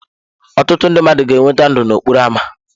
Ọtụtụ ndị mmadụ ga-enweta ndụ n'okporo ámá.